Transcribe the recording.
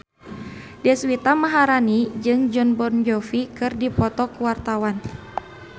Deswita Maharani jeung Jon Bon Jovi keur dipoto ku wartawan